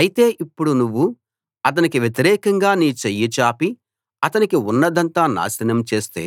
అయితే ఇప్పుడు నువ్వు అతనికి వ్యతిరేకంగా నీ చెయ్యి చాపి అతనికి ఉన్నదంతా నాశనం చేస్తే